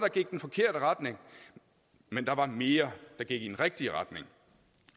i den forkerte retning men der var mere der gik i den rigtige retning